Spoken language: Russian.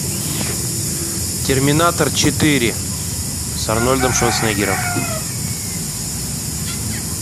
терминатор четыре с арнольдом шварценеггером